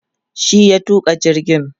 shi ya tuka jirgin